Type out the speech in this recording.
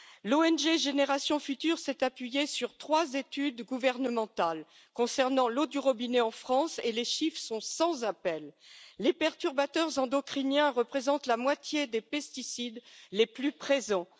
L'ONG Générations Futures s'est appuyée sur trois études gouvernementales concernant l'eau du robinet en France et les chiffres sont sans appel les perturbateurs endocriniens représentent la moitié des pesticides les plus présents.